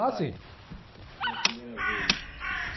pai? h, sim.ela primeira vez.